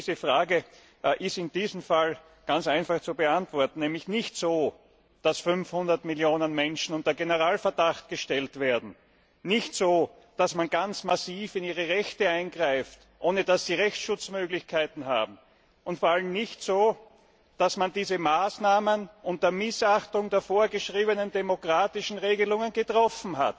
Diese Frage ist in diesem Fall ganz einfach zu beantworten Es darf nicht so gemacht werden, dass 500 Millionen Menschen unter Generalverdacht gestellt werden, nicht so, dass man ganz massiv in ihre Rechte eingreift, ohne dass sie Rechtsschutzmöglichkeiten haben, und vor allem nicht so, dass man diese Maßnahmen unter Missachtung der vorgeschriebenen demokratischen Regelungen trifft.